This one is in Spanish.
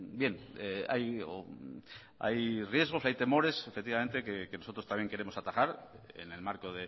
bien hay riesgos hay temores efectivamente que nosotros también queremos atajar en el marco